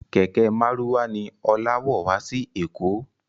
Kẹ̀kẹ́ márúwá ni Ọlá wọ̀ wá sí èkó